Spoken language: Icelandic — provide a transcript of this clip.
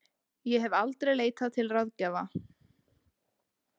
Ég hef aldrei leitað til ráðgjafa.